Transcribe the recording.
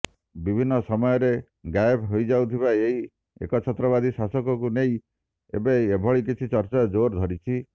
ବିଭିନ୍ନ ସମୟରେ ଗାୟବ ହୋଇଯାଉଥିବା ଏହି ଏକଛାତ୍ରବାଦୀ ଶାସକଙ୍କୁ ନେଇ ଏବେ ଏଭଳି କିଛି ଚର୍ଚ୍ଚା ଜୋର ଧରିଛି